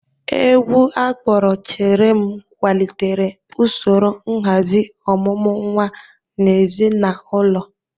Egwu akpọrọ "Chere m' kwalitere usoro nhazi ọmụmụ nwa n'ezinaụlọ